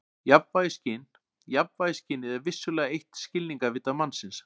Jafnvægisskyn Jafnvægisskynið er vissulega eitt skilningarvita mannsins.